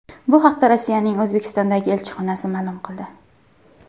Bu haqda Rossiyaning O‘zbekistondagi elchixonasi ma’lum qildi .